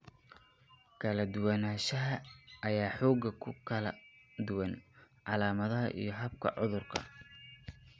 Kala duwanaanshahan ayaa xoogaa ku kala duwan calaamadaha iyo habka cudurka.